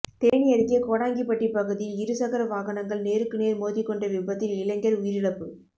தேனி அருகே கோடாங்கிபட்டி பகுதியில் இருசக்கர வாகனங்கள் நேருக்கு நேர் மோதிக் கொண்ட விபத்தில் இளைஞர் உயிரிழப்பு